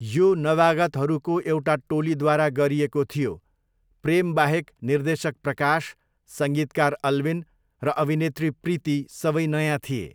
यो नवागतहरूको एउटा टोलीद्वारा गरिएको थियो, प्रेमबाहेक निर्देशक प्रकाश, सङ्गीतकार अल्विन र अभिनेत्री प्रीति सबै नयाँ थिए।